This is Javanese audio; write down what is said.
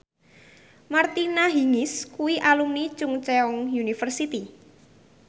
Martina Hingis kuwi alumni Chungceong University